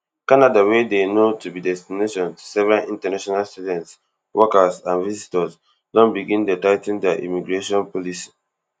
canada wey dey known to be destination to several international students workers and visitors don begin dey tigh ten dia immigration policy